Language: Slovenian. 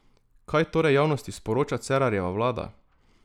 Kaj torej javnosti sporoča Cerarjeva vlada?